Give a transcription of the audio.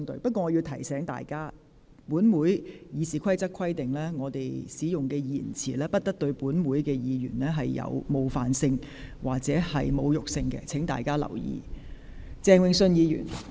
不過，我要提醒各位，《議事規則》規定，議員使用的言詞不得對其他議員帶有冒犯性或侮辱性，請大家留意。